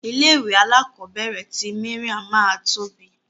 Ilé ìwé alakobere ti Mariam ma tóbi.